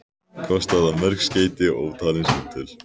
Kostaði það mörg skeyti og ótalin símtöl.